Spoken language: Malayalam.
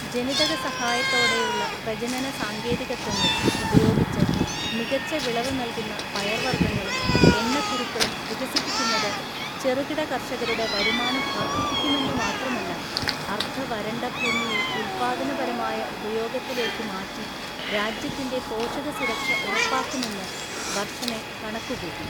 ജനിതക സഹായത്തോടെയുള്ള പ്രജനന സാങ്കേതികത്വങ്ങൾ ഉപയോഗിച്ച് മികച്ച വിളവ് നൽകുന്ന പയർവർഗ്ഗങ്ങളും എണ്ണക്കുരുക്കളും വികസിപ്പിക്കുന്നത് ചെറുകിട കർഷകരുടെ വരുമാനം വർദ്ധിപ്പിക്കുമെന്ന് മാത്രമല്ല, അർദ്ധ വരണ്ട ഭൂമിയെ ഉൽപാദനപരമായ ഉപയോഗത്തിലേക്ക് മാറ്റി രാജ്യത്തിന്റെ പോഷക സുരക്ഷ ഉറപ്പാക്കുമെന്ന് വർഷനെ കണക്കുകൂട്ടി.